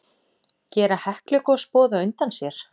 Gera Heklugos boð á undan sér?